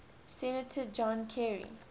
senator john kerry